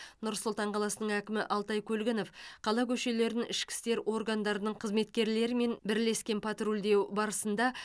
нұр сұлтан қаласының әкімі алтай көлгінов қала көшелерін ішкі істер органдарының қызметкерлерімен бірлескен патрульдеу барысында